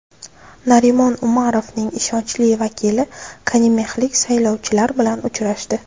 Narimon Umarovning ishonchli vakili konimexlik saylovchilar bilan uchrashdi.